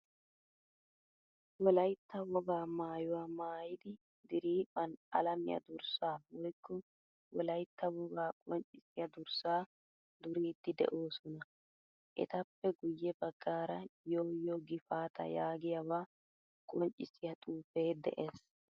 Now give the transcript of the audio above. Wolaytta wogaa maayuwaa maayidi diriphphan alamiyaa durssa woykko wolaytta wogaa qonccisiyaa durssa duriidi de'oosona. Etappe guye baggaara yoo yoo gifaataa yaagiyaaba qonccisiyaa xuufe de'ees.